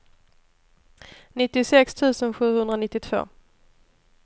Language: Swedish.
nittiosex tusen sjuhundranittiotvå